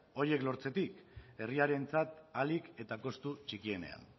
horiek lortzetik herriarentzat ahalik eta kostu txikienean